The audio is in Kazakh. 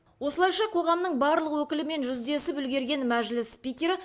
осылайша қоғамның барлық өкілімен жүздесіп үлгерген мәжіліс спикері